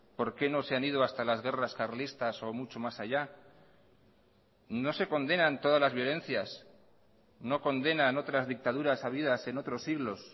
por qué no se han ido hasta las guerras carlistas o mucho más allá no se condenan todas las violencias no condenan otras dictaduras habidas en otros siglos